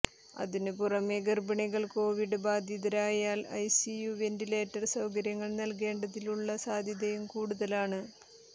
അതിനു പുറമേ ഗർഭിണികൾ കോവിഡ് ബാധിതരായാൽ ഐസിയു വെന്റിലേറ്റർ സൌകര്യങ്ങൾ നൽകേണ്ടതിനുള്ള സാധ്യതയും കൂടുതലാണ്